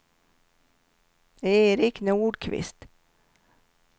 Eric Nordqvist